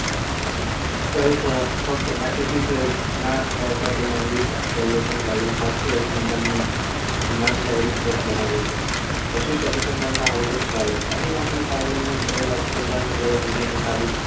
પ્રયોગ ફક્ત નાશ પામતા તેમના વિવેક અવલોકન શાસ્ત્રીય અનુસંધાનની વરિષ્ઠ સ્પષ્ટ બનાવ્યું છે પ્રશિષ્ટ અભિસરણના મૂળભૂત ખ્યાલો અને કરેલા